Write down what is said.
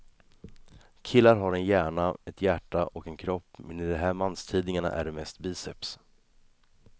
Killar har en hjärna, ett hjärta och en kropp men i de här manstidningarna är det mest biceps.